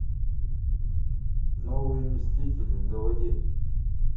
новые мстители заводи